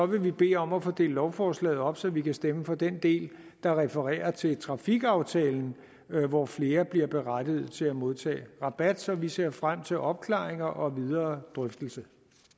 vi bede om at få delt lovforslaget op så vi kan stemme for den del der refererer til trafikaftalen hvor flere bliver berettiget til at modtage rabat så vi ser frem til opklaringer og videre drøftelse